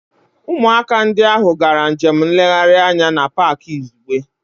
Ụmụaka ndị ahụ gara njem nlegharị anya na Pááki izugbe